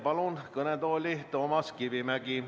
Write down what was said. Palun kõnetooli Toomas Kivimägi.